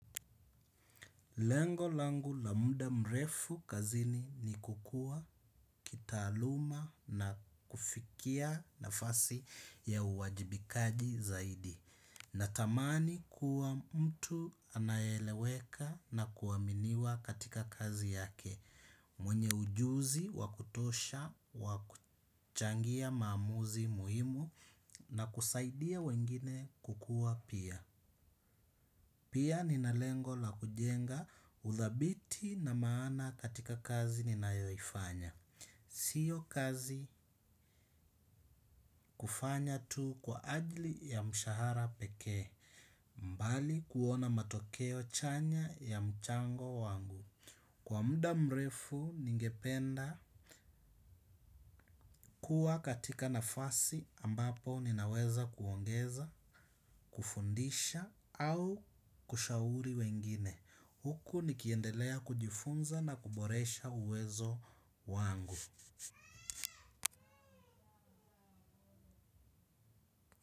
Lengo langu la muda mrefu kazini ni kukua, kitaluma na kufikia nafasi ya uwajibikaji zaidi. Natamani, kuwa mtu anaye eleweka na kuaminiwa katika kazi yake. Mwenye ujuzi, wakutosha, wakuchangia maamuzi muhimu na kusaidia wengine kukua pia. Pia, ninalengo la kujenga uthabiti na maana katika kazi ninayoifanya. Sio kazi kufanya tu kwa ajili ya mshahara pekee, mbali kuona matokeo chanya ya mchango wangu. Kwa muda mrefu ningependa kuwa katika nafasi ambapo ninaweza kuongeza, kufundisha au kushauri wengine. Huku, nikiendelea kujifunza na kuboresha uwezo wangu.